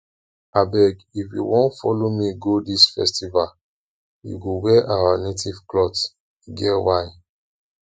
abeg if you wan follow me go dis festival you go wear our native cloth e get why